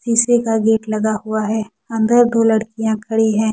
शीशे का गेट लगा हुआ है अंदर दो लड़कियां खड़ी हैं।